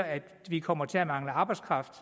at vi kommer til at mangle arbejdskraft